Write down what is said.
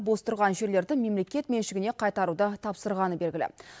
бос тұрған жерлерді мемлекет меншігіне қайтаруды тапсырғаны белгілі